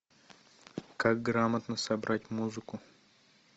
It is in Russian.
как грамотно собрать музыку